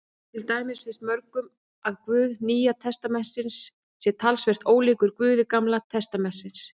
Til dæmis finnst mörgum að Guð Nýja testamentisins sé talsvert ólíkur Guði Gamla testamentisins.